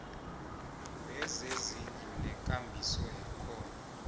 wezezindlu nekambiso yakhona